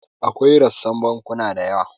Akwai rassan bankuna da yawa.